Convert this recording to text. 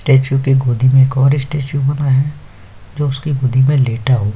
statue के गोदी में एक और स्टेच्यू